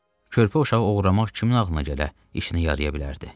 Körpə uşağı oğurlamaq kimin ağlına gələ, işini yarıya bilərdi.